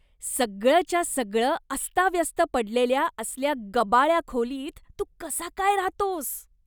सगळंच्या सगळं अस्ताव्यस्त पडलेल्या असल्या गबाळ्या खोलीत तू कसा काय राहतोस?